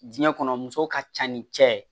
Diɲɛ kɔnɔ muso ka ca ni cɛ ye